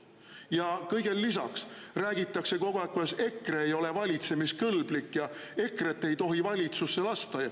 Ja kõigele lisaks räägitakse kogu aeg, kuidas EKRE ei ole valitsemiskõlblik, EKRE‑t ei tohi valitsusse lasta.